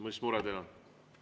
Mis mure teil on?